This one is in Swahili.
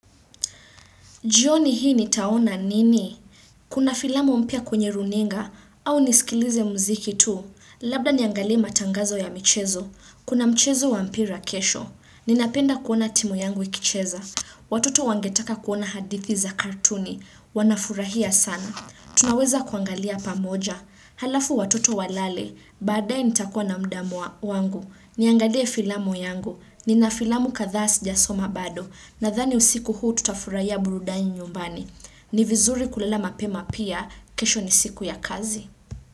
Jioni hii nitaona nini? Kuna filamu mpya kwenye runinga au nisikilize mziki tu. Labda niangalie matangazo ya michezo. Kuna mchezo wa mpira kesho. Ninapenda kuona timu yangu ikicheza. Watoto wangetaka kuona hadithi za kartuni. Wanafurahia sana. Tunaweza kuangalia pamoja. Halafu watoto walale, baadae nitakua na muda wangu, niangalie filamu yangu, nina filamu kathaa sijasoma bado, nadhani usiku huu tutafurahia burudani nyumbani. Ni vizuri kulala mapema pia, kesho ni siku ya kazi.